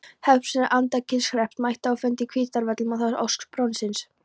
Hreppsnefnd Andakílshrepps mætti á fund á Hvítárvöllum að ósk barónsins.